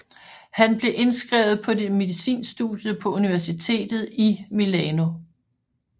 Han blev indskrevet på medicinstudiet på universitetet i Milano